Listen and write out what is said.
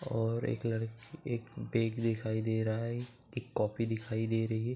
और एक लड़की एक बैग दिखाई दे रहा है। एक कॉपी दिखाई दे रही है।